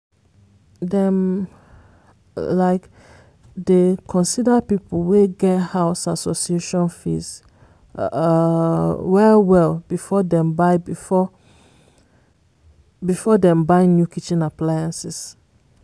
dem um dey consider people wey get house association fees um well well before dem buy before dem buy new kitchen appliance.